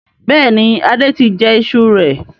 Bẹ́ẹ̀ni, Adé tí jẹ ìṣù rẹ̀.